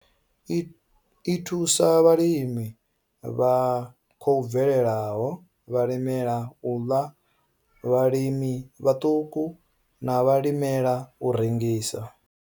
I thusa vhalimi vha khou bvelelaho, vhalimela u ḽa, vhalimi vhaṱuku na vhalimela u rengisa.